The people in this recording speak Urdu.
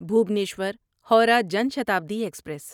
بھوبنیشور ہورہ جان شتابدی ایکسپریس